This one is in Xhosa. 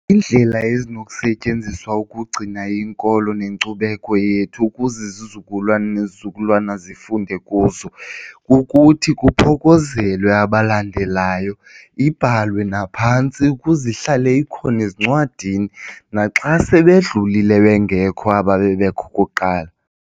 Indlela ezinokusetyenziswa ukugcina inkolo nenkcubeko yethu ukuze izizukulwana nezizukulwana zifunde kuzo kukuthi kuphokozelwe abalandelayo ibhalwe naphantsi ukuze ihlale ikhona ezincwadini naxa sebedlulile bengekho aba bebekho kuqala.